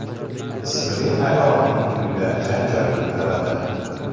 ismli ayolning uyida janjal ko‘taradi.